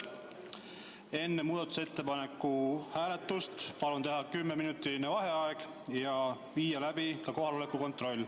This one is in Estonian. Enne muudatusettepaneku hääletust palun teha kümneminutiline vaheaeg ja viia läbi kohaloleku kontroll.